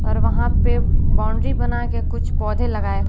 और वहां पे बाउंड्री बनाके कुछ पौधे लगाए--